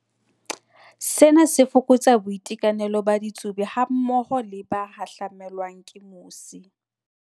Sena se fokotsa boitekanelo ba ditsubi hammoho le ba ka hahlamelwang ke mosi.